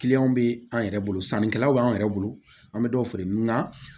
Kiliyanw bɛ an yɛrɛ bolo sannikɛlaw b'an yɛrɛ bolo an bɛ dɔw feere nga